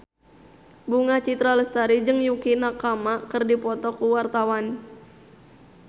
Bunga Citra Lestari jeung Yukie Nakama keur dipoto ku wartawan